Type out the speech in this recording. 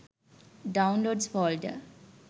downloads folder